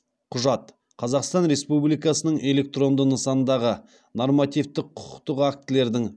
құжат қазақстан республикасының электронды нысандағы нормативтік құқықтық актілердің